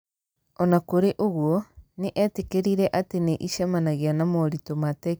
O na kũrĩ ũguo, nĩ eetĩkĩrire atĩ nĩ ĩcemanagia na moritũ ma tekinolonjĩ ĩgiĩ kũmenyithia andũ ũhoro wa ũhootani ũcio.